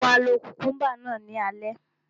Mo máa lo kukumba náà ní alẹ́